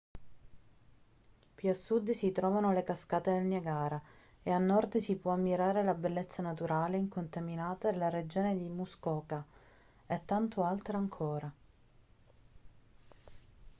più a sud si trovano le cascate del niagara e a nord si può ammirare la bellezza naturale e incontaminata della regione di muskoka e tanto altro ancora